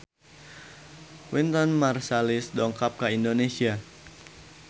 Wynton Marsalis dongkap ka Indonesia